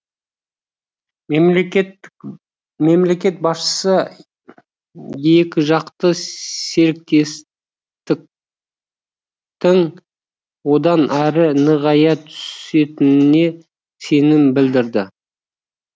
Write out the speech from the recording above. мемлекет басшысы екіжақты серіктестіктің одан әрі нығая түсетініне сенім білдірді